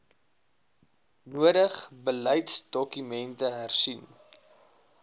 nodig beleidsdokumente hersien